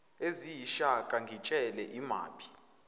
eziyishaka ngitshele imaphi